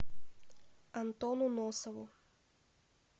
антону носову